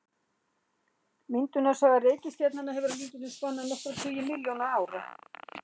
Myndunarsaga reikistjarnanna hefur að líkindum spannað nokkra tugi milljóna ára.